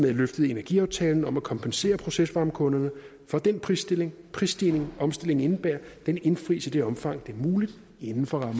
at løftet i energiaftalen om at kompensere procesvarmekunderne for den prisstigning prisstigning omstillingen indebærer indfries i det omfang det er muligt inden for